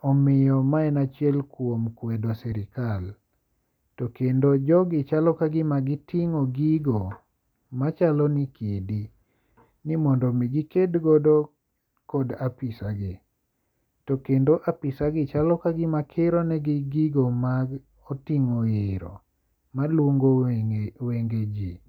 Omiyo ma en achiel kuom kwedo sirkal. To kendo jogi chalo ka gima giting'o gigo machalo ni kidi ni mondo mi giked godo kod afisa gi. To kendo afisa gi chalo ka gima kiro ne gi gigo moting'o iro malungo wenge ji.